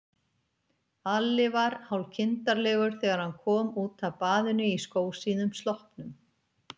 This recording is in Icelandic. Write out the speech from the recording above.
Alli var hálfkindarlegur þegar hann kom út af baðinu í skósíðum sloppnum.